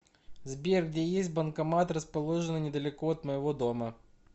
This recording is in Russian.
сбер где есть банкомат расположенный недалеко от моего дома